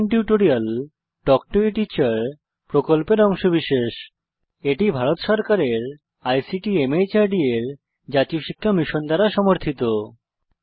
spoken tutorial talk to a teacher প্রকল্পের অংশবিশেষ এটি ভারত সরকারের আইসিটি মাহর্দ এর ন্যাশনাল মিশন ওন এডুকেশন দ্বারা সমর্থিত